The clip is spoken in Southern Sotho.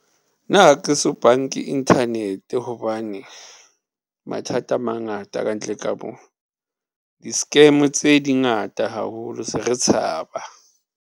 Nna ha ke so banke inthanete hobane mathata a mangata ka ntle ka mo di-scam tse di ngata haholo. Se re tshaba.